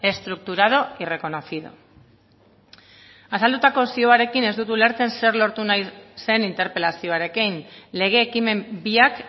estructurado y reconocido azaldutako zioarekin ez dut ulertzen zer lortu nahi zen interpelazioarekin lege ekimen biak